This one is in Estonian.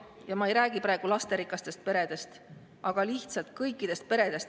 Ja ma ei räägi praegu lasterikastest peredest, vaid kõikidest peredest.